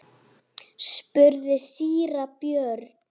spurði síra Björn.